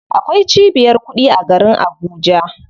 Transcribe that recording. Akwai cibiyar kuɗi a garin Abuja.